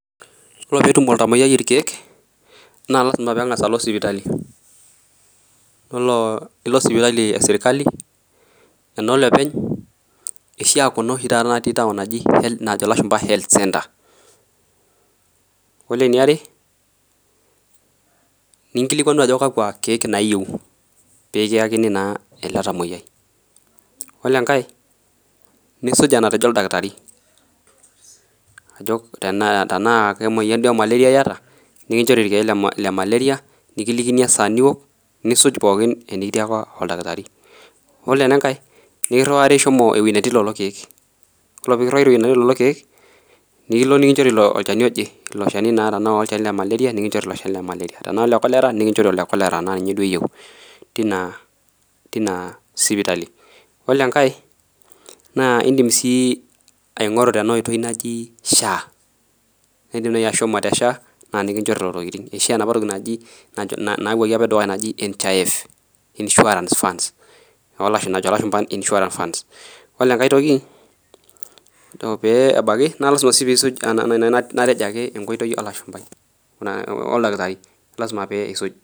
Ore pee etum olntamuoyiai irkek naa lasima pee eng'as alo sipitali yiolo elo sipitali esirkali enolopeny kisha Kuna oshi najo elashumba health's center ore eniare naa nkilikuanu Ajo kakua keek eyieu pee eyakini naa ele tamuoyiai ore enkae nisuj enatejo oldakitarii tenaa kemoyian duo ee[csm]malaria eyata nikinjori irkeek lee malaria nkilikini esaa niwok nisuj pookin enikiyiaka oldakitarii yiolo enkae niriwari ahomo enetii lelo keek ore pee kiriwari ehomo enetii lelo keek nilo nikinjori olchani ojee elo Shani naa tenaa ole malaria nikinjori naa tenaa ole cholera nikichori elo Shani teina sipitali yiolo enkae naa edim sii aing'oru Tena oitoi naaji SHA edim naaji ashomo tee SHA naa nikinjori lelo keeashu enapa toki edukuya naaji NHIF ore enkae toki pee ekibaiki naa lasima pee esuj enkoitoi oldakitarii